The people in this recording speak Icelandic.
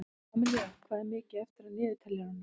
Amilía, hvað er mikið eftir af niðurteljaranum?